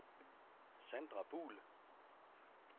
Sandra Buhl